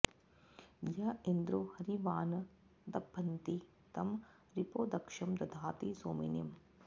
य इन्द्रो॒ हरि॑वा॒न्न द॑भन्ति॒ तं रिपो॒ दक्षं॑ दधाति सो॒मिनि॑